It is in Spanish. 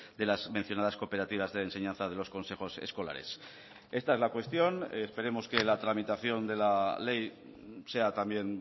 de las mencionadas cooperativas de enseñanza de los consejos escolares esta es la cuestión esperemos que la tramitación de la ley sea también